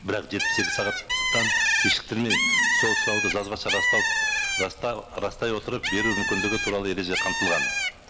бірақ жетпіс екі сағаттан кешіктірмей сол сұрауды жазбаша растау растай отырып беру мүмкіндігі туралы ереже қамтылған